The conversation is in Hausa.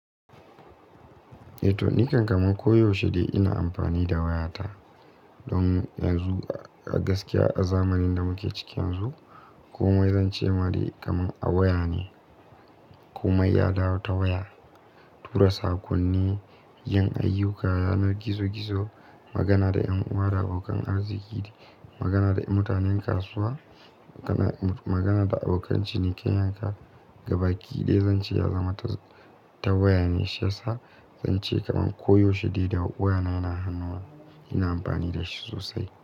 Eh to nikan kaman ko yaushe dai ina amfani da wayata don yanzu a gaskiya a zamanin da muke ciki yanzu komai zance ma dai kamar a waya ne. Komai ya dawo ta waya, tura sakonni, yin ayyuka yanar gizo-gizo, magana da ƴan uwa da abokan arziki, magana da mutanen kasuwa, magana da abokan ciniki, yanka ga baki ɗaya zan ce ya zama ta waya ne. Shiyasa zan ce kaman koyaushe dai da wayana yana hannuna ina amfani da shi sosai.